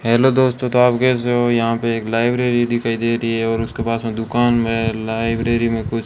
hello दोस्तों तो आप कैसे हो यहां पे एक लाइब्रेरी दिखाई दे रही है और उसके पास में दुकान में लाइब्रेरी में कुछ --